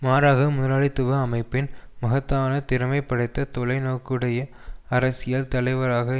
மாறாக முதலாளித்துவ அமைப்பின் மகத்தான திறமை படைத்த தொலை நோக்குடைய அரசியல் தலைவராக